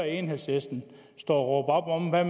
enhedslisten stå og råbe op om hvad